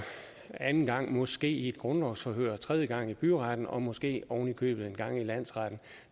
anden gang måske i grundlovsforhør og tredje gang i byretten og måske ovenikøbet en gang i landsretten